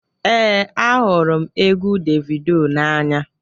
ee, ahụrụ m egwu davido n'anya